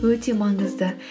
өте маңызды